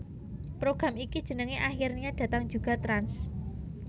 Program iki jenenge Akhirnya Datang Juga Trans